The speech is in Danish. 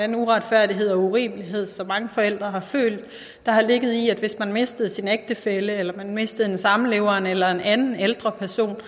den uretfærdighed og urimelighed som mange forældre har følt der har ligget i at hvis man mistede sin ægtefælle eller man mistede en samlever eller en anden ældre person